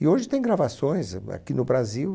E hoje tem gravações a aqui no Brasil.